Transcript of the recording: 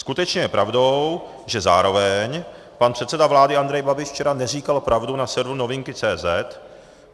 Skutečně je pravdou, že zároveň pan předseda vlády Andrej Babiš včera neříkal pravdu na serveru novinky.cz